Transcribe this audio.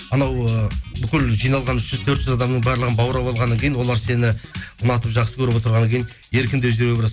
анау ы бүкіл жиналған үш жүз төрт жүз адамның барлығын баурап алғаннан кейін олар сені ұнатып жақсы көріп отырғаннан кейін еркін де жүре